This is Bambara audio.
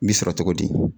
N bi sɔrɔ togo di